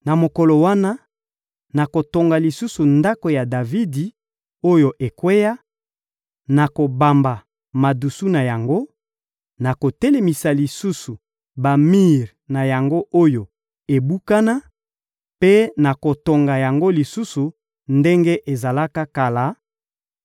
Na mokolo wana, nakotonga lisusu ndako ya Davidi oyo ekweya, nakobamba madusu na yango, nakotelemisa lisusu bamir na yango oyo ebukana mpe nakotonga yango lisusu ndenge ezalaka kala,